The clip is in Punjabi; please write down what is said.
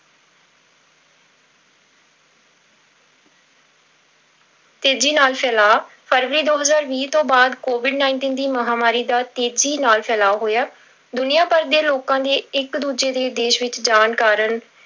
ਤੇਜੀ ਨਾਲ ਫੈਲਾਅ, ਫਰਵਰੀ ਦੋ ਹਜ਼ਾਰ ਵੀਹ ਤੋਂ ਬਾਅਦ covid nineteen ਦੀ ਮਹਾਂਮਾਰੀ ਦਾ ਤੇਜ਼ੀ ਨਾਲ ਫੈਲਾਅ ਹੋਇਆ, ਦੁਨੀਆ ਭਰ ਦੇ ਲੋਕਾਂ ਦੇ ਇੱਕ ਦੂਜੇ ਦੇ ਦੇਸ ਵਿੱਚ ਜਾਣ ਕਾਰਨ